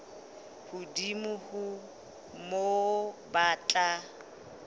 hodimo ho moo ba tla